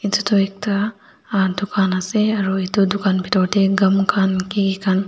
etu tu ekta ah dukan ase aro etu dukan bitor te gam khan kiki khan.